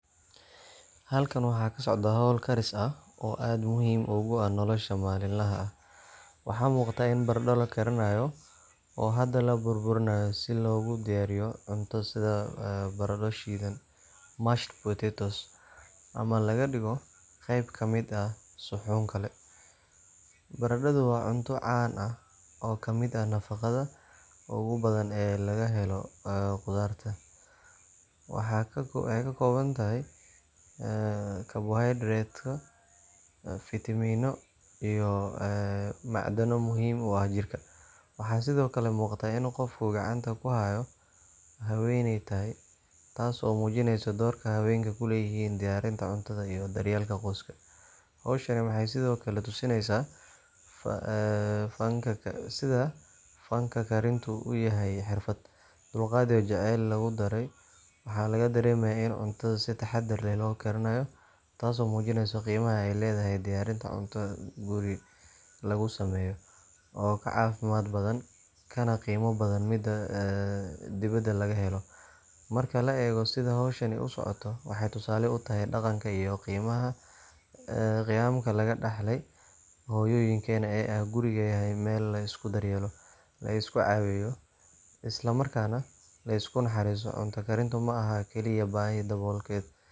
Halkan waxa ka socda hawl karis ah oo aad muhiim ugu ah nolosha maalinlaha ah. Waxaa muuqata in baradho la karinayo oo hadda la burburinayo si loogu diyaariyo cunto sida baradho shiidan mashed potatoes ama laga dhigo qayb ka mid ah suxuun kale. Baradhadu waa cunto caan ah oo ka mid ah nafaqada ugu badan ee laga helo khudarta. Waxay ka kooban tahay carbohaydrate, fiitamiinno iyo macdano muhiim u ah jirka. Waxaa sidoo kale muuqata in qofka gacanta ku haya haweeney tahay, taas oo muujinaysa doorka haweenku ku leeyihiin diyaarinta cuntada iyo daryeelka qoyska. Hawshan waxay sidoo kale tusinaysaa sida fanka karintu u yahay xirfad, dulqaad iyo jacayl lagu daray. Waxaa laga dareemayaa in cuntada si taxadar leh loo diyaarinayo, taasoo muujinaysa qiimaha ay leedahay diyaarin cunto guri lagu sameeyo, oo ka caafimaad badan kana qiimo badan midda dibadda laga helo. Marka la eego sida hawshan u socoto, waxay tusaale u tahay dhaqanka iyo qiyamka laga dhaxlay hooyooyinkeen oo ah in gurigu yahay meel la isku daryeelo, la is caawiyo, isla markaana la isku naxariisto. Cunto karintu ma aha oo keliya baahi daboolkeed, balse waa xilli lagu muujiyo jacayl,